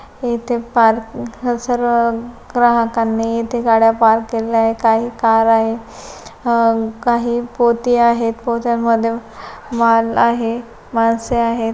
येथे पार्किंग सर्व ग्राहकांनी येथे गाड्या पार्क केलेल्या आहे आणि कार आहे अ काही पोती आहे पोत्यांमध्ये माल आहे माणसे आहेत.